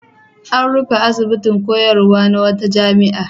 An rufe asibitin koyarwa na wata jami'a.